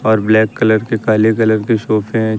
और black colour के काले कलर के सोफे हैं।